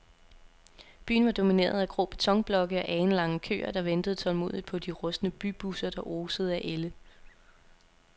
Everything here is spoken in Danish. Byen var domineret af grå betonblokke og alenlange køer, der ventede tålmodigt på de rustne bybusser, der osede af ælde.